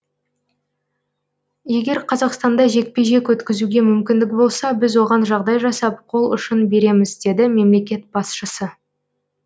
егер қазақстанда жекпе жек өткізуге мүмкіндік болса біз оған жағдай жасап қол ұшын береміз деді мемлекет басшысы